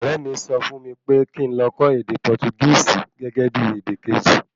Ọrẹ mi sọ fún mí pé kín ló kọ́ ède Portugisi gẹ́gẹ́bí èdè Kejì